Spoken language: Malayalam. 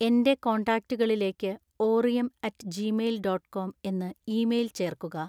എന്‍റെ കോൺടാക്റ്റുകളിലേക്ക് ഓറിയം അറ്റ് ജീമെയിൽ ഡോട്ട് കോമം എന്ന് ഇമെയിൽ ചേർക്കുക